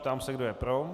Ptám se, kdo je pro.